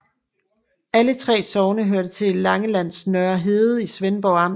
Alle 3 sogne hørte til Langelands Nørre Herred i Svendborg Amt